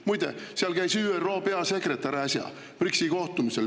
Muide, seal BRICS‑i kohtumisel käis äsja ÜRO peasekretär.